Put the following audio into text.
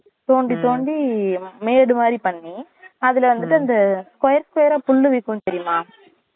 தோண்டி தோண்டி மேடு மாறி பண்ணி அதுல வந்துட்டு இந்த square square புல்லு விக்கும் தெரியுமா